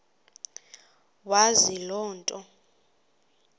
wazi loo nto